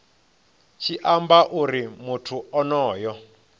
tshi amba uri muthu onoyo